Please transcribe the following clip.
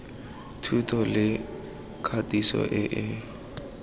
thuto le katiso e e